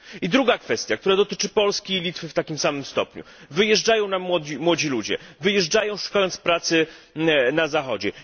I druga kwestia, która dotyczy Polski i Litwy w takim samym stopniu wyjeżdżają nam młodzi ludzie, wyjeżdżają, szukając pracy na Zachodzie.